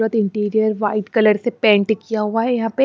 interior white colour से paint किया हुआ है यहां पे--